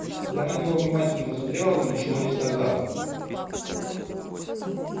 я на него внимательно посмотрела но ничего не сказала